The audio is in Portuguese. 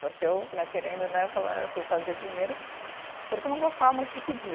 Porque eu né, querendo né, eu falei, eu fui fazer dinheiro porque eu não gostava muito de pedir.